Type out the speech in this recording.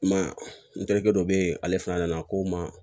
I ma ye n terikɛ dɔ be yen ale fana nana ko n ma